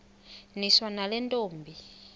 niswa nale ntombi